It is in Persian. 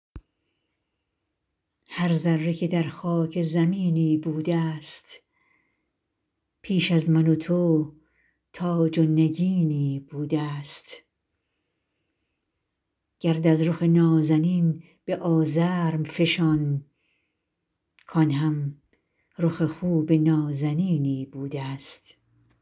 هر ذره که در خاک زمینی بوده ست پیش از من و تو تاج و نگینی بوده ست گرد از رخ نازنین به آزرم فشان کآن هم رخ خوب نازنینی بوده ست